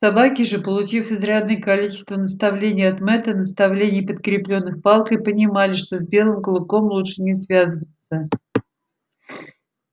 собаки же получив изрядное количество наставлений от мэтта наставлений подкреплённых палкой понимали что с белым клыком лучше не связываться